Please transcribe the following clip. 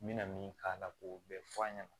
N bɛna min k'a la k'o bɛɛ fɔ an ɲɛna